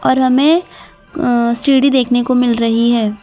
और हमें अ सीढ़ी देखने को मिल रही है।